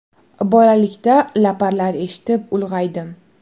Bolalikda laparlar eshitib, ulg‘aydim.